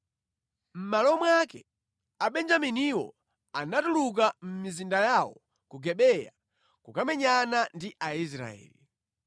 Mʼmalo mwake, Abenjaminiwo anatuluka mʼmizinda yawo ku Gibeya kukamenyana ndi Aisraeli.